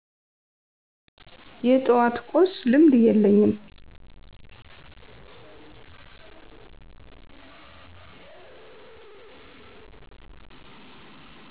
የጡዋት ቁርስ ልምድ የለኝም